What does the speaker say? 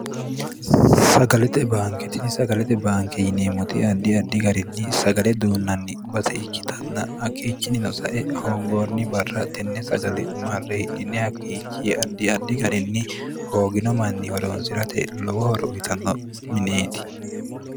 sagalete baanketini sagalete baanke yineemoti addi addi garinni sagale duunnanni base ikitanna hakkiichinnino sae hoongoonni barra tenne sagale marre hidhine hakkiichi addi addi garinni hoogino manni horoonsi'rate lowohoro uyitanno mineeti